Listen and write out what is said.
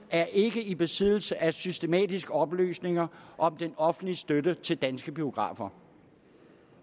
er ikke i besiddelse af systematiske oplysninger om den offentlige støtte til danske biografer